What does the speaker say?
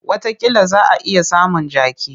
Watakila za a iya samun jaki.